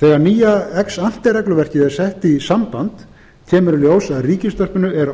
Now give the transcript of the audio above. þegar nýja ex ante regluverkið er sett í samband kemur í ljós að ríkisútvarpinu er